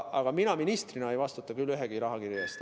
Aga mina ministrina ei vastuta ühegi rahakirje eest.